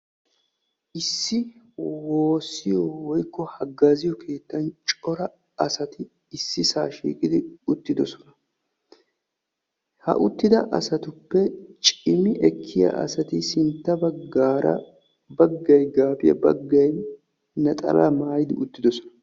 Issi woossiyoo woykko haggaaziyoo keettan cora asati issisaa shiiqqidi uttidosona. ha uttida asatuppe cimi ekkiyaa asati sintta baggaara baggay gaabiyaa baggay naxalaa maayidi uttidosona.